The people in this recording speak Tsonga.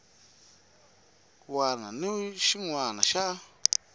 wana ni xin wana xa